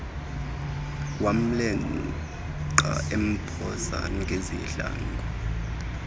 wamleqa emphosa ngezihlangu